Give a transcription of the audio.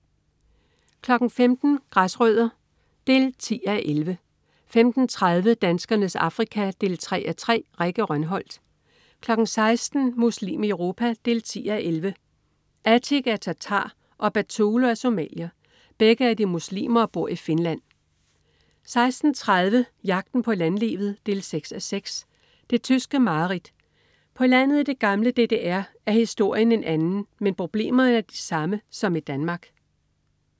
15.00 Græsrødder 10:11 15.30 Danskernes Afrika 3:3. Rikke Rønholt 16.00 Muslim i Europa 10:11. Atik er tartar og Batulo er somalier. Begge er de muslimer og bor i Finland 16.30 Jagten på landlivet 6:6. Det tyske mareridt. På landet i det gamle DDR er historien en anden, men problemerne de samme som i Danmark